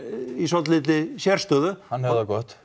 í svolítilli sérstöðu hann hefur það gott